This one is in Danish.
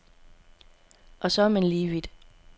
Og så er man lige vidt.